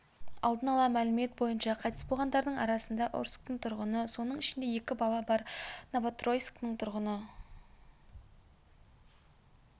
алдын ала мәлімет бойынша қайтыс болғандардың арасында орсктің тұрғыны соның ішінде екі бала бар новотроицктің тұрғыны